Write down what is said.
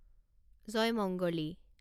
জয়মঙ্গলী